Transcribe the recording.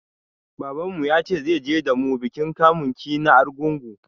Babanmu ya ce zai je da mu bikin kamun ki na Arugungu.